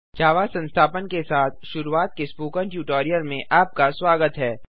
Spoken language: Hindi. जावा संस्थापन के साथ शुरूआत पर स्पोकन ट्यूटोरियल में आपका स्वागत है